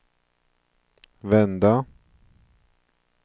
vända